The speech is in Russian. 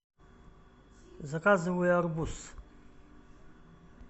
заказывай арбуз